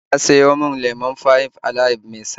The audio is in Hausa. Ya sayo min lemon Five Alive mai sanyi